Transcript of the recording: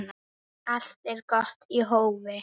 Allt er gott í hófi.